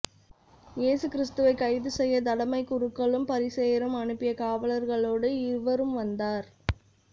இயேசு கிறித்துவை கைது செய்ய தலைமைக் குருக்களும் பரிசேயரும் அனுப்பிய காவலர்களோடு இவரும் வந்தார்